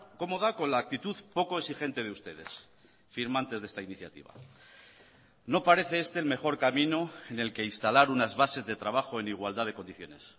cómoda con la actitud poco exigente de ustedes firmantes de esta iniciativa no parece este el mejor camino en el que instalar unas bases de trabajo en igualdad de condiciones